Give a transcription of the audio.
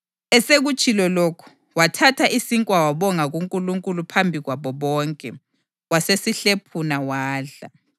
Esekutshilo lokhu, wathatha isinkwa wabonga kuNkulunkulu phambi kwabo bonke. Wasesihlephuna wadla.